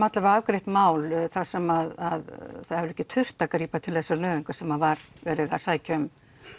afgreitt mál þar sem að það hefur ekki þurft að grípa til þessara nauðunga þar sem að var verið að sækja um